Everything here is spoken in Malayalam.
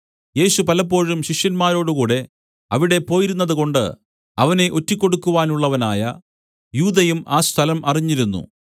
യേശു പലപ്പോഴും ശിഷ്യന്മാരോടുകൂടെ അവിടെ പോയിരുന്നതുകൊണ്ട് അവനെ ഒറ്റികൊടുക്കാനുള്ളവനായ യൂദയും ആ സ്ഥലം അറിഞ്ഞിരുന്നു